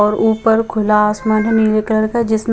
और ऊपर खुला आसमान नीले कलर क जिस म--